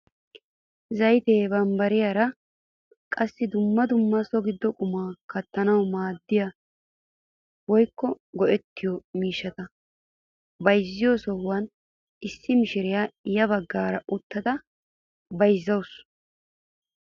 Zayttiyaa, bambbariyaa qassi dumma dumma so giddon qumaa kaattanawu maaddiyaa woykko go"ettiyoo miishshata bayzziyoo sohuwaan issi mishiriyaa ya baggaara uttada bayzzawus.